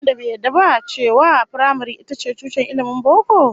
Akwai wanda bai yarda ba cewa firamare ita ce tushen ilmin boko?